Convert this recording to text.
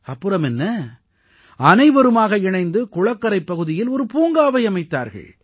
அப்புறமென்ன அனைவருமாக இணைந்து குளக்கரைப் பகுதியில் ஒரு பூங்காவை அமைத்தார்கள்